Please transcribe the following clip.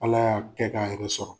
Ala y'a kɛ k'a yɛrɛ sɔrɔ.